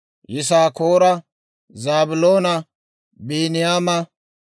Yisaakoora, Zaabiloona, Biiniyaama,